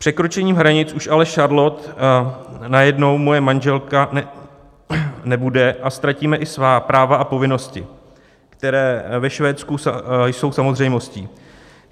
Překročením hranic už ale Charlotte najednou moje manželka nebude a ztratíme i svá práva a povinnosti, které ve Švédsku jsou samozřejmostí.